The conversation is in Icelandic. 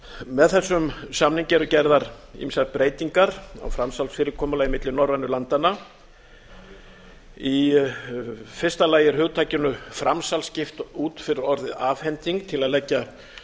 með þessum samningi eru gerðar ýmsar breytingar á framsalsfyrirkomulagi milli norrænu landanna í fyrsta lagi er hugtakinu framsal skipt út fyrir orðið afhending til að leggja